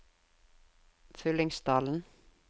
Fyllingsdalen